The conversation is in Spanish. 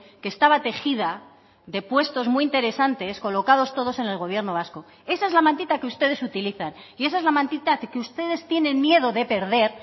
que estaba tejida de puestos muy interesantes colocados todos en el gobierno vasco esa es la mantita que ustedes utilizan y esa es la mantita que ustedes tienen miedo de perder